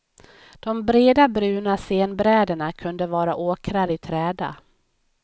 De breda, bruna scenbräderna kunde vara åkrar i träda.